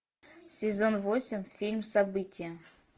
сезон восемь фильм событие